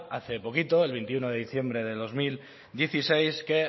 hace poquito el veintiuno de diciembre del dos mil dieciséis que